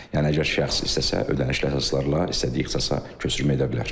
Yəni əgər şəxs istəsə, ödənişli əsaslarla istədiyi ixtisasa köçürmə edə bilər.